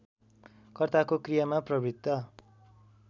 कर्ताको क्रियामा प्रवृत्त